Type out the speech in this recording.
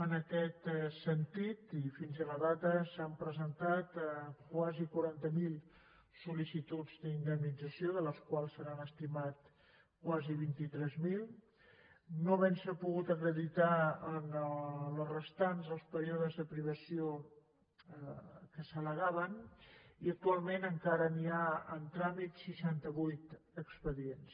en aquest sentit i fins a la data s’han presentat quasi quaranta miler sol·licituds d’indemnització de les quals se n’han estimat quasi vint tres mil no haventse pogut acreditar en les restants els períodes de privació que s’allegaven i actualment encara hi ha en tràmit seixantavuit expedients